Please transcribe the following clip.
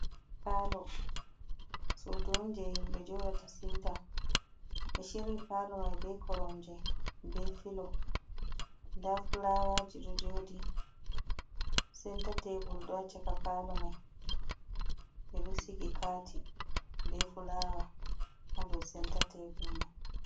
Paalo. Sudu on je himɓe joɗata siwta, ɓe shiryi palo mai be koromje, be filo, nda fulawaji ɗo joɗi, senta tebul ɗo haa caka palo mai, ɓe ɗo sigi kaati be fulawa haa dow senta tebul mai.